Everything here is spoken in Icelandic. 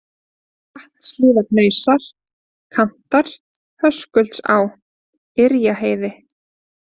Vatnshlíðarhnausar, Kantar, Höskuldsá, Yrjaheiði